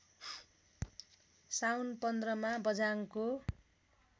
साउन १५मा बझाङको